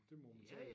Det må man sige